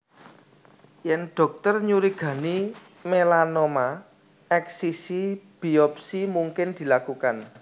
Yèn dhokter nyurigani melanoma eksisi biopsi mungkin dilakukan